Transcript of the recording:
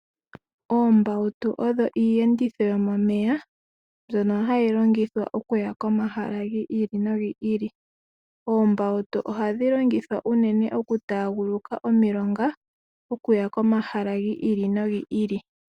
Oombautu odho iiyenditho yomomeya mbyono hayi longithwa okuya komahala gi ili nogi ili. Oombautu ohadhi longithwa unene okutaaguluka omilonga okuya komahala gi ili nogi ili.